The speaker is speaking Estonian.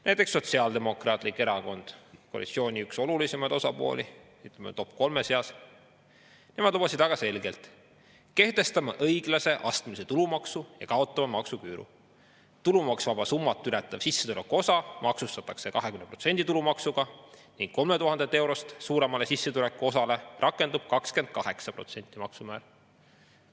Näiteks Sotsiaaldemokraatlik Erakond, koalitsiooni üks olulisemaid osapooli, ütleme, top 3 seas, nemad lubasid väga selgelt: kehtestame õiglase astmelise tulumaksu ja kaotame maksuküüru, tulumaksuvaba summat ületav sissetulekuosa maksustatakse 20%‑lise tulumaksuga ning 3000 eurost suuremale sissetulekuosale rakendub 28%‑line maksumäär.